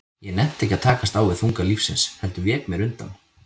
Ég nennti ekki að takast á við þunga lífsins, heldur vék mér undan.